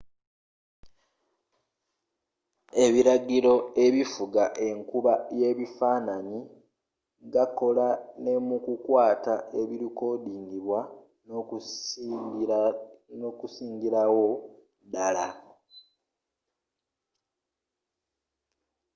ebiragiro ebifuga enkuba y'ebifaananyi gakola ne mu kukwata ebirikodingibwa n'okusingirawo ddala